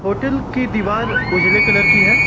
Hotel की दीवार उजाले कलर की है।